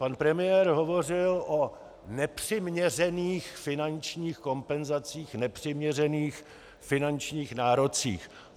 Pan premiér hovořil o nepřiměřených finančních kompenzacích, nepřiměřených finančních nárocích.